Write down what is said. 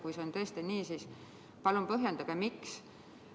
Kui see on tõesti nii, siis palun põhjendage, miks.